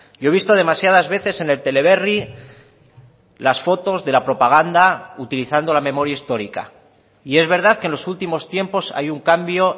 yo he visto demasiadas veces en el teleberri las fotos de la propaganda utilizando la memoria histórica y es verdad que en los últimos tiempos hay un cambio